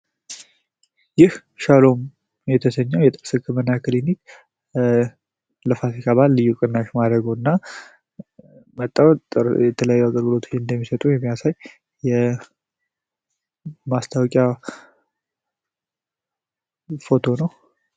ይህ ሻሎም የተሰኘው የህክምና ክሊኒክ ለፋሲካ ልዩ ቅናሽ ማድረጉና በጣም ጥሩ የተለየ አገልግሎት መስጠቱና ማስታዎቂያ ፎቶ ነው።